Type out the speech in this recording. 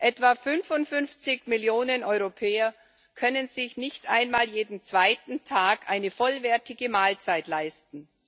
Etwa 55 Millionen Europäer können sich nicht einmal jeden zweiten Tag eine vollwertige Mahlzeit leisten.